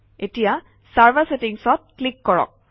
এতিয়া চাৰ্ভাৰ ছেটিংচত ক্লিক কৰক